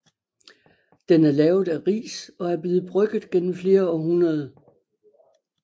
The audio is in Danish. Den er lavet af ris og er blevet brygget gennem flere århundrede